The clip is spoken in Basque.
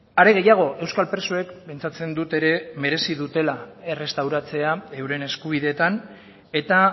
are gehiago euskal presoek pentsatzen dut ere merezi dutela errestauratzea euren eskubideetan eta